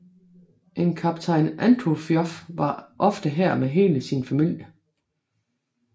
En kaptajn Antofioff var ofte her med hele sin familie